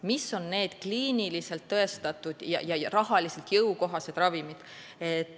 Mis on need kliiniliselt tõestatud ja rahaliselt jõukohased ravimid?